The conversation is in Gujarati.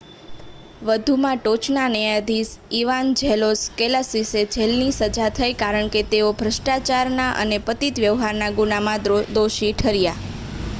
વધુમાં ટોચના ન્યાયાધીશ ઇવાન્જેલોસ કૅલોસિસને જેલની સજા થઈ કારણ કે તેઓ ભ્રષ્ટાચારના અને પતિત વ્યવહારના ગુનામાં દોષી ઠર્યા